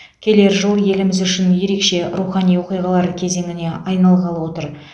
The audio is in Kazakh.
келер жыл еліміз үшін ерекше рухани оқиғалар кезеңіне айналғалы отыр